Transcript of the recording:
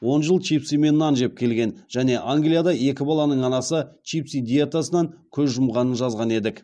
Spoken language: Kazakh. он жыл чипсы мен нан жеп келген және англияда екі баланың анасы чипсы диетасынан көз жұмғанын жазған едік